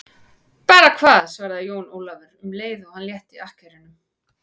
Bara hvað, svaraði Jón Ólafur um leið og hann létti akkerunum.